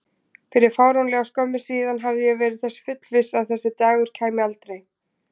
Fyrir fáránlega skömmu síðan hafði ég verið þess fullviss að þessi dagur kæmi aldrei.